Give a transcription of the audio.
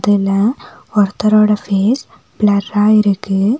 இதுல ஒருத்தரோட ஃபேஸ் ப்ளர்ரா இருக்கு.